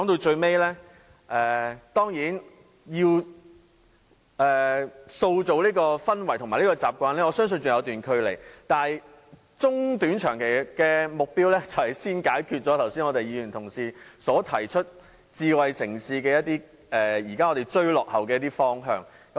最後，當然，要塑造這種氛圍和習慣，我相信仍有一段距離，但短、中、長期的目標便是先解決剛才由議員同事提出，在發展智慧城市上我們現時必須追落後的一些方向。